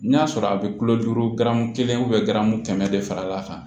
N'a sɔrɔ a bɛ kilo duuru garamu kelen kɛmɛ de fal'a kan